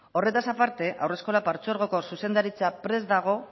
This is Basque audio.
horretaz aparte haurreskolak partzuergoko zuzendaritza prest dago